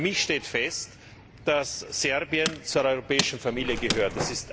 Für mich steht fest, dass Serbien zur europäischen Familie gehört.